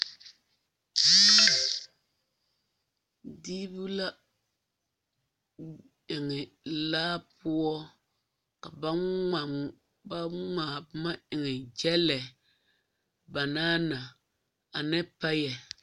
Diibu la eŋ laa poɔ ka ŋmaa ka ba ŋmaa boma eŋe gyɛlɛ banaana pay.